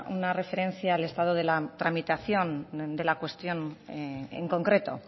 una referencia al estado de la tramitación de la cuestión en concreto